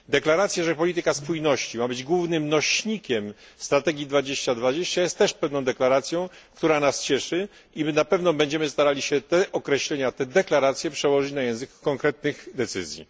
Deklaracja, że polityka spójności ma być głównym nośnikiem strategii 2020 jest też deklaracją, która nas cieszy i my na pewno będziemy starali się te określenia, te deklaracje, przełożyć na język konkretnych decyzji.